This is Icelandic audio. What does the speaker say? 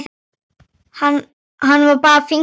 Hann bar fingur að vör.